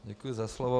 Děkuji za slovo.